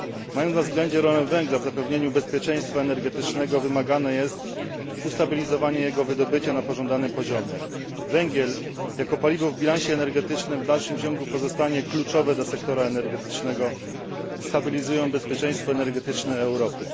Mając na względzie rolę węgla w zapewnieniu bezpieczeństwa energetycznego, wymagane jest ustabilizowanie jego wydobycia na pożądanym poziomie. Węgiel jako paliwo w bilansie energetycznym w dalszym ciągu pozostanie kluczowy dla sektora energetycznego, stabilizując bezpieczeństwo energetyczne Europy.